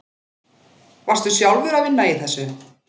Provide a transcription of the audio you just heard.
Varstu sjálfur að vinna í þessu?